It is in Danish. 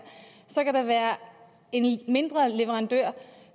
så kan der være en mindre leverandør